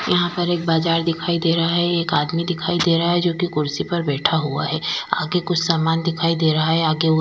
यहां पर एक बाजार दिखाई दे रहा है एक आदमी दिखाई दे रहा है जो कि कुर्सी पर बैठा हुआ है आगे कुछ सामान दिखाई दे रहा है आगे --